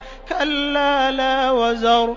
كَلَّا لَا وَزَرَ